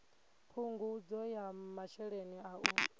phungudzo ya masheleni a u